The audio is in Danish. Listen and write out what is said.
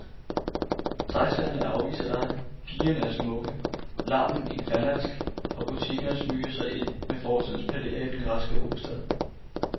Taxaerne afviser dig, pigerne er smukke, larmen infernalsk og butikkerne smyger sig ind med fortidens palæer i den græske hovedstad.